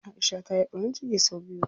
Aisha ta yi ɓarin ciki sau biyu.